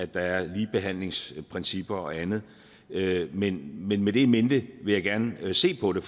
der er ligebehandlingsprincipper og andet men med med det in mente vil jeg gerne se på det